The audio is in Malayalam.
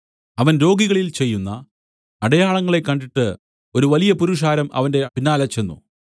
അവൻ രോഗികളിൽ ചെയ്യുന്ന അടയാളങ്ങളെ കണ്ടിട്ട് ഒരു വലിയ പുരുഷാരം അവന്റെ പിന്നാലെ ചെന്ന്